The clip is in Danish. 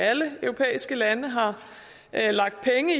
alle europæiske lande har lagt penge